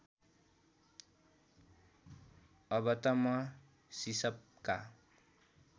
अब त म सिसपका